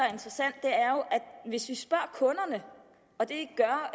hvis vi spørger kunderne og det gør